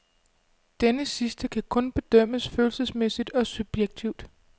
Denne sidste kan kun bedømmes følelsesmæssigt og subjektivt.